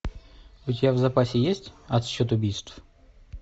у тебя в запасе есть отсчет убийств